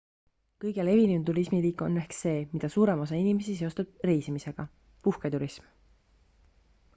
kõige levinum turismiliik on ehk see mida suurem osa inimesi seostab reisimisega puhketurism